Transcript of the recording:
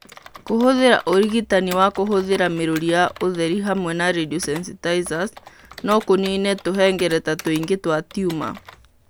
Kũhũthĩra ũrigitani wa kũhũthĩra mĩrũri ya ũtheri hamwe na radiosensitizers no kũniine tũhengereta tũingĩ twa tumor.